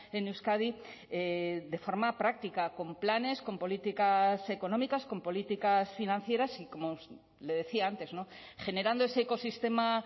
en euskadi de forma práctica con planes con políticas económicas con políticas financieras y como le decía antes generando ese ecosistema